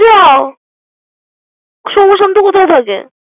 যাও সোম শান্ত কোথায় থাকে।